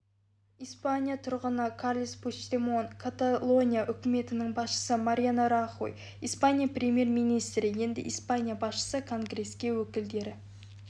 испания тұрғыны карлес пучдемон каталония үкіметінің басшысы мариано рахой испания премьер-министрі енді испания басшысы конгресте өкілдері